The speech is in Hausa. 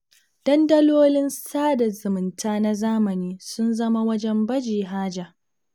Dandalolin sada zumunta na zamani sun zama wajen baje haja.